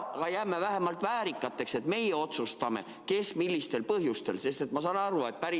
Aga jääme vähemalt väärikaks, et meie otsustame, kes ja millistel põhjustel.